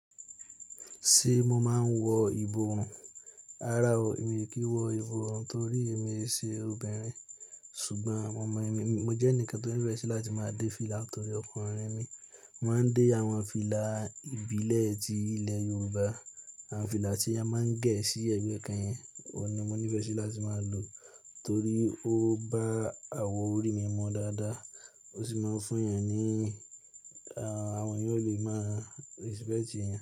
Ṣé mo máa ń wọ ìbò rùn? Rárá o, èmi kì í wọ ìbò rùn torí èmi ṣe obìnrin. Ṣùgbọ́n àwọn ọmọ mi, mo jẹ́ ẹnìkan tó nífẹ́ sí láti máa dé fìlà torí ọkùnrin mi. Mo máa ń dé àwọn fìlà ìbílẹ̀ ti ilẹ̀ Yorùbá. Àwọn fìlà tí a máa ń gẹ̀ sí ẹ̀gbẹ́ kànyìn, ọ̀ni mo nífẹ́ sí láti máa lò torí ó bá àwọ̀ orí mi mọ́ dáadáa, ó sì máa ń fún èèyàn ní, àwọn èèyàn ó lè máa respect èèyàn.